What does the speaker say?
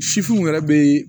Sifinw yɛrɛ be